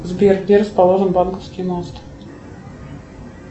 сбер где расположен банковский мост